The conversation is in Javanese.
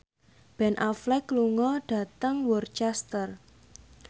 Ben Affleck lunga dhateng Worcester